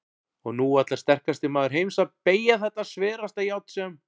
Og nú ætlar sterkasti maður heims að BEYGJA ÞETTA SVERASTA JÁRN SEM